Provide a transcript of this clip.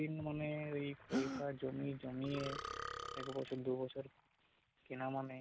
দিন মানে ওই পয়সা জমিয়ে জমিয়ে এক বছর দুবছর কেনা মানে